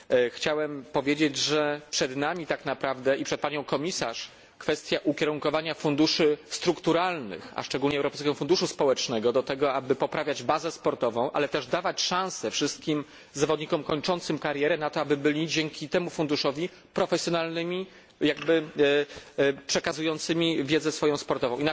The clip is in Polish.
Chciałem powiedzieć, że przed nami, tak naprawdę, przed Panią Komisarz, jest jeszcze kwestia ukierunkowania funduszy strukturalnych, a szczególnie Europejskiego Funduszu Społecznego, tak aby poprawiać bazę sportową, ale też dawać wszystkim zawodnikom kończącym karierę szansę na to, aby byli dzięki temu funduszowi profesjonalistami przekazującymi swoją wiedzę sportową.